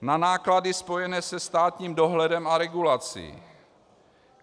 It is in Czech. Na náklady spojené se státním dohledem a regulací.